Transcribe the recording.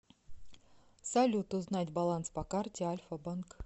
салют узнать баланс по карте альфа банк